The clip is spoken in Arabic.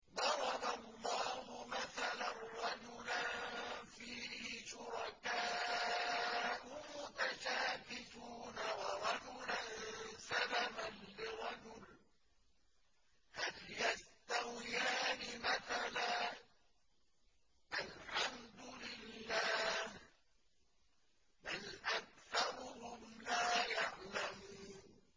ضَرَبَ اللَّهُ مَثَلًا رَّجُلًا فِيهِ شُرَكَاءُ مُتَشَاكِسُونَ وَرَجُلًا سَلَمًا لِّرَجُلٍ هَلْ يَسْتَوِيَانِ مَثَلًا ۚ الْحَمْدُ لِلَّهِ ۚ بَلْ أَكْثَرُهُمْ لَا يَعْلَمُونَ